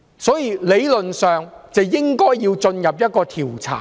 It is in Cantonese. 所以，理論上，應該要調查。